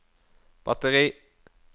batteri